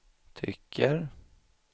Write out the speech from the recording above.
tycker